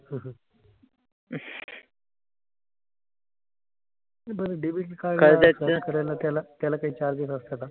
बरं debit card करायला त्याला त्याला काही charges असतं का?